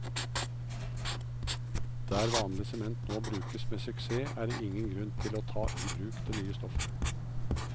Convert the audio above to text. Der vanlig sement nå brukes med suksess, er det ingen grunn til å ta i bruk det nye stoffet.